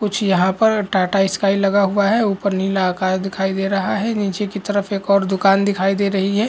कुछ यहाँ पर टाटा स्काई लगा हुआ है ऊपर नीला आकाश दिखाई दे रहा है नीचे की तरफ एक और दुकान दिखाई दे रही है।